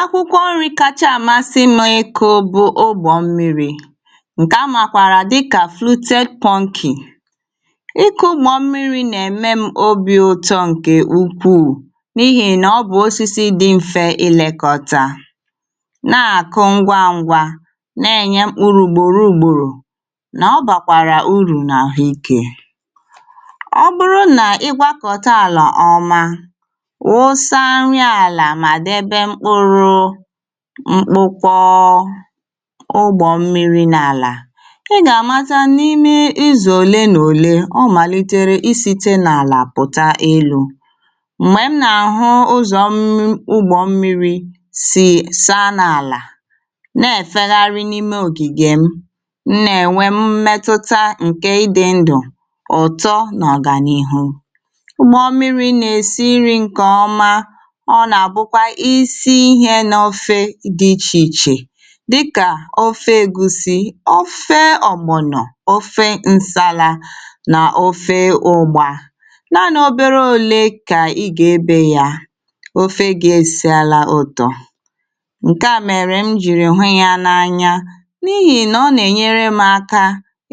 akwụkwọ nri kacha amasị m iko bụ ogbọmmiri ǹkè amakwara dịka flute pungy iku ugbọ mmiri na-eme m obi ọ̀tọ nke ukwuu n’ihì nà ọ bụ̀ osisi dị mfe ilekọta na-akụ ngwa ngwa na-enye mkpụrụ ugboro nà ọ bàkwàrà urù n’ahụike ọ bụrụ nà igwa kọta àlà ọma mkpụkwọ ugbọ̀ mmiri n’àlà ị gà-àmata n’ime izù òle nà òle ọ màlìtere isite n’àlà pụ̀ta elu̇ m̀gbè m nà-àhụ ụzọ̀ ugbọ̀ mmiri̇ sì saa n’àlà na-èfegharị n’ime ògìgè m nà-ènwe mmetụta um ǹkè ịdị̇ ndụ̀ ụ̀tọ n’ọ̀gànihu ugbọ̇ mmiri̇ nà-èsi iri̇ nke ọma dị̇ ichè ichè dịkà ofe ègusi ofe ọ̀gbụ̀nọ̀ ofe ǹsala nà ofe ụgbȧ naanị̇ obere ole kà ị gà-ebe yà ofe gà-èsiàlà òtò ǹkèà mèrè m jìrì nwe yà n’anya n’ihì nà ọ nà-ènyere m aka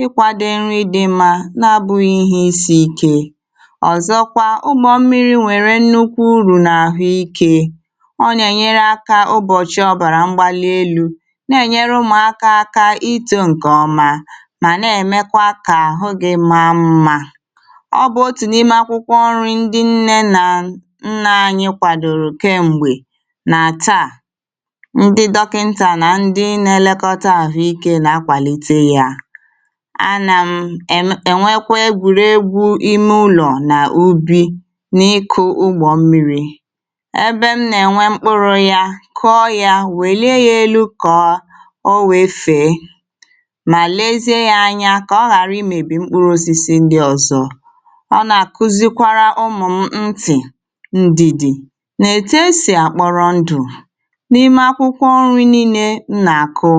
ịkwȧdị nrị dị mma n’abụ̇ghị̇ ihe isi̇ ike ọ̀zọkwa ugbọ̇ mmiri̇ nwèrè nnukwu urù n’àhụ ikė na-ènyere ụmụ̀akȧ aka itȯ ǹkè ọma mà na-èmekwa kà àhụ gị maa mmȧ ọbụ otù n’ime akwụkwọ ọrị̇ ndị nne nà nne anyị kwàdòrò kem̀gbè nà taà ndị dọkịntà nà ndị nȧ-ėlėkọta àhụ ikė nà-akwàlite yȧ a nà m um ènwekwa egwùregwu̇ imè ụlọ̀ nà ubì n’ikù ugbọ̀ mmiri̇ kụọ yȧ wèlie yȧ elu kọ̀ọ o nwèefe mà lezie yȧ anya kà ọ ghàra imėbì mkpụrụ osisi ndi ọ̀zọ ọ nà-àkụzikwara ụmụ̀ m tì ndìdì nà-ète sì àkpọrọ ndù n’ime akwụkwọ nri nille nà-àkụ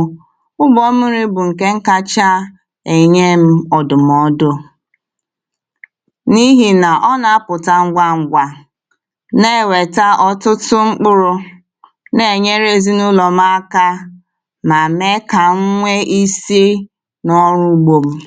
ụgwọ̇ ọmịrị̇ bụ̀ ǹkè nkacha ènye ọ̀dụ̀mọdụ n’ihì nà ọ nà-apụ̀ta ngwa ṅgwȧ nà-ènweta ọtụtụ mkpụrụ̇ na-enyere ezinụlọ m aka mà mee kà m nwee ise n’ọrụ ugbȯ m.